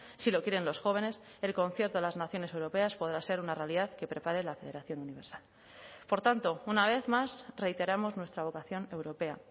si lo quieren los jóvenes el concierto de las naciones europeas podrá ser una realidad que prepare la federación universal por tanto una vez más reiteramos nuestra vocación europea